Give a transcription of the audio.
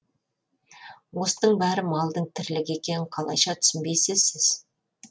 осының бәрі малдың тірлігі екенін қалайша түсінбейсіз сіз